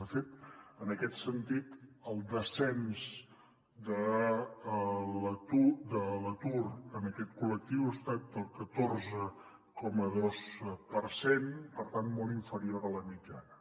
de fet en aquest sentit el descens de l’atur en aquest col·lectiu ha estat del catorze coma dos per cent per tant molt inferior a la mitjana